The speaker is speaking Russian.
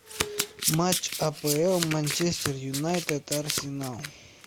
матч апл манчестер юнайтед арсенал